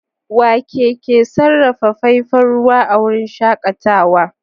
Wake ke sarrafa faifan ruwa a wurin shakatawa?